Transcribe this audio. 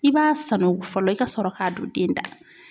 I b'a sanako fɔlɔ i ka sɔrɔ ka don den da la.